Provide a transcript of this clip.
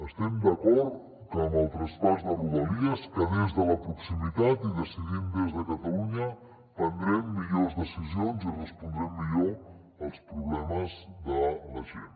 estem d’acord que amb el traspàs de rodalies que des de la proximitat i decidint des de catalunya prendrem millors decisions i respondrem millor als problemes de la gent